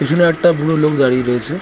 পিছনে একটা বুড়ো লোক দাঁড়িয়ে রয়েছে ।